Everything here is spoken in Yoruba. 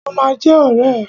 Ó ma jẹ́ ọ̀rẹ́ ẹ̀.